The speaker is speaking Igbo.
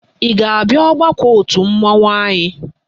Ị ga-abịa ọgbakọ òtù mmanwụ anyị?